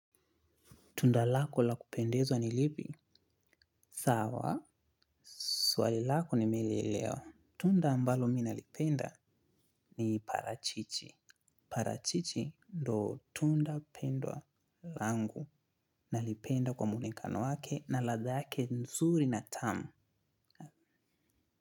Tunda lako la kupendezwa ni lipi? Sawa. Swali lako nimelielewa. Tunda ambalo mimj nalipenda ni parachichi. Parachichi ndo tunda pendwa langu nalipenda kwa muonekano wake na ladha yake nzuri na tamu.